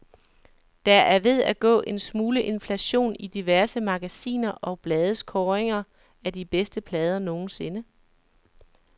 Der er ved at gå en smule inflation i diverse magasiner og blades kåringer af de bedste plader nogensinde.